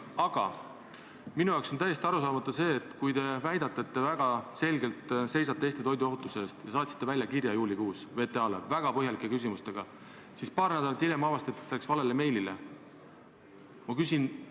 Aga minule on täiesti arusaamatu see teie väide, et te väga selgelt seisate Eesti toiduohutuse eest, aga kui te saatsite juulikuus VTA-le väga põhjalike küsimustega kirja, siis paar nädalat hiljem avastati, et see läks valele meiliaadressile.